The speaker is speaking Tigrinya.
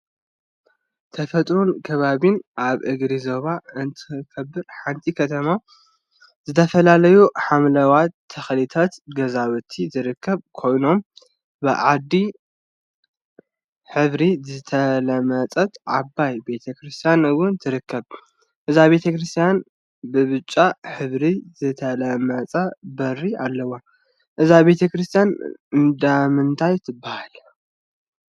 ተፈጥሮን አከባቢን አብ እግሪ ጎቦ እትርከብ ሓንቲ ከተማ ዝተፈላለዩ ሓምለዎት ተክሊታትን ገዛውቲን ዝርከቡ ኮይኖም፤ ብዒባ ሕብሪ ዝተለመፀት ዓባይ ቤተ ክርስትያን እውን ትርከብ፡፡ እዛ ቤተ ክርስትያነ ብብጫ ሕብሪ ዝተለመፀ በሪ አለዋ፡፡ እዛ ቤተ ክርስትያን እንዳምንታይ ትበሃል?